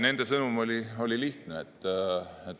Nende sõnum oli lihtne.